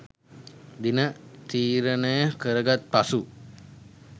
දින තීරණය කරගත් පසු